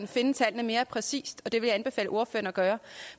finde tallene mere præcist og det vil jeg anbefale ordføreren at gøre